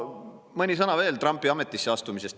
Mõni sõna veel Trumpi ametisse astumisest.